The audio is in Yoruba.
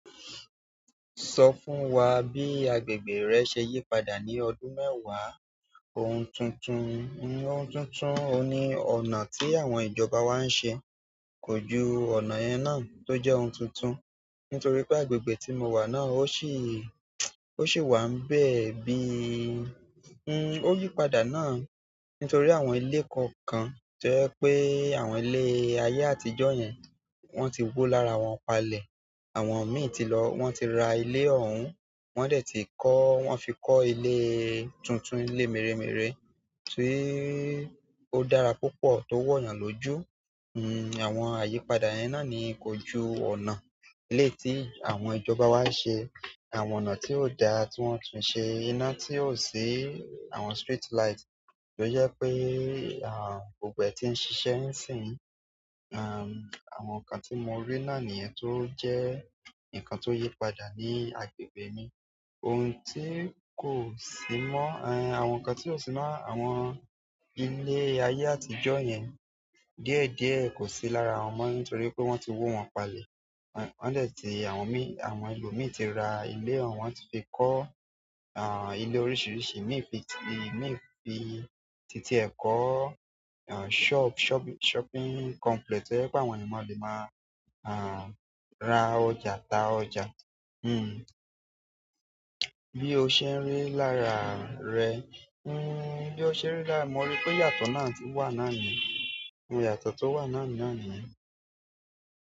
Sọ fún wa bí agbègbè rẹ ṣe yípadà ní ọdún mẹ́wàá. Ohun tuntun, ohun tuntun ohùn ni ọ̀nà tí àwọn ìjọba wa ń ṣe. Kójú ọ̀nà yẹn náà tó jẹ́ ohun tuntun. Nítorí pé agbègbè tí mo wà náà ó sì, ó sì wà ńbẹ́ẹ̀ bí i, hm, ó yípadà náà nítorí àwọn ilé kọ̀ọ̀kan tó jẹ́ pé àwọn ilé ayé àtijọ́ yẹn wọ́n ti wó lára wọn palẹ̀. Àwọn imi tí lọ, wọn ti ra ilé òhún wọn dẹ ti kọ wọn fi kọ ilẹ tuntun, ilé mèremère tí ó dára púpọ̀, tó wọ̀nyàn lójú. Àwọn àyípadà yẹn náà ní, kò jù ọ̀nà ilé tí àwọn ìjọba wa ṣe, àwọn ọ̀nà tí ó dáa tí wọ́n tún ṣe iná tí ò sí, àwọn street light tó jẹ́ pé, à, gbogbo ẹ̀ tì ń ṣiṣẹ́ nísìnyí. À, àwọn nǹkan tí mo rí náà nìyẹn tó jẹ́ nǹkan tó yípadà ní agbègbè mi. Òhun tí kò sí mọ́, ẹ, àwọn nǹkan tí ó sì mọ́ àwọn ilé ayé àtijọ́ yẹn díẹ̀ díẹ̀ kò sí lára wọn mọ́ nítorí pé wọ́n ti wó wọn palẹ̀. Wọ́n dẹ̀ ti àwọn mìí, àwọn ẹlòmí ti ra ilé òhún, wọn ti fi kọ́, à, ilé oríṣiríṣi. Níbi ti níbi títí ẹ̀kọ́, à, shop-shopping, shopping complex tó jẹ́ pé àwọn ènìyàn lè máa, à, ra ọjà, ta ọjà. Hm. Bí o ṣe ń rí lára rẹ, hm, bí o ṣe rí lára mi. Mo rí pé ìyàtọ̀ náà ti wà náà ni. Ìyàtọ̀ tó wà náà, náà niyẹn.